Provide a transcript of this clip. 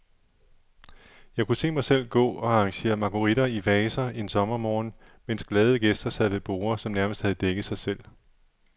Jeg kunne se mig selv gå og arrangere marguritter i vaser en sommermorgen, mens glade gæster sad ved borde, som nærmest havde dækket sig selv.